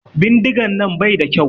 Bindigan nan bai da kyau.